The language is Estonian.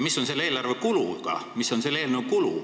Mis on selle eelnõu kulu?